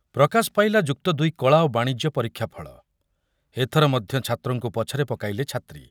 ପ୍ରକାଶ ପାଇଲା ଯୁକ୍ତଦୁଇ କଳା ଓ ବାଣିଜ୍ୟ ପରୀକ୍ଷାଫଳ, ଏଥର ମଧ୍ୟ ଛାତ୍ରଙ୍କୁ ପଛରେ ପକାଇଲେ ଛାତ୍ରୀ